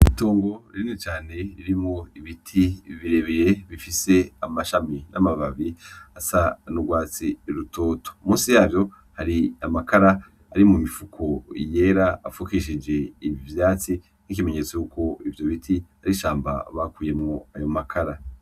Itongo rinini cane ririmwo ibiti birebire bifise amashami n'amababi asa n'urwatsi rutoto. Musi yavyo hari amakara ari mu mifuko yera afukishije ivyatsi nk'ikimenyetso cuko ivyo biti ari ishamba bakuyemwo ayo makara.